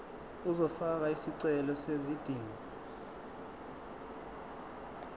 uzofaka isicelo sezidingo